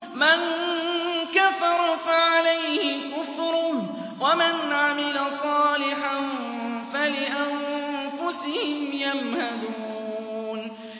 مَن كَفَرَ فَعَلَيْهِ كُفْرُهُ ۖ وَمَنْ عَمِلَ صَالِحًا فَلِأَنفُسِهِمْ يَمْهَدُونَ